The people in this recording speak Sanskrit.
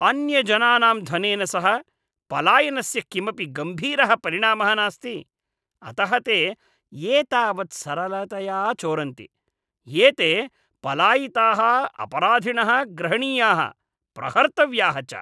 अन्यजनानाम् धनेन सह पलायनस्य किमपि गम्भीरः परिणामः नास्ति, अतः ते एतावत् सरलतया चोरन्ति। एते पलायिताः अपराधिणः ग्रहणीयाः, प्रहर्तव्याः च।